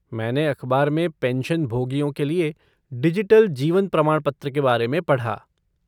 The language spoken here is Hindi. मैंने अखबार में पेंशनभोगियों के लिए डिजिटल जीवन प्रमाणपत्र के बारे में पढ़ा।